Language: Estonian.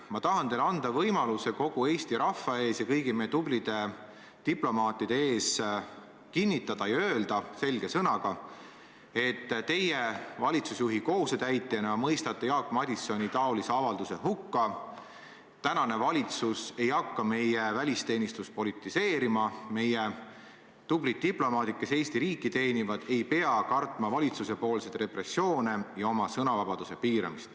Ma tahan teile anda võimaluse kinnitada selge sõnaga kogu Eesti rahva ees, sealhulgas kõigi meie tublide diplomaatide ees, et teie valitsusjuhi kohusetäitjana mõistate Jaak Madisoni taolise avalduse hukka, et praegune valitsus ei hakka meie välisteenistust politiseerima ja et meie tublid diplomaadid, kes Eesti riiki teenivad, ei pea kartma valitsuse repressioone ja sõnavabaduse piiramist.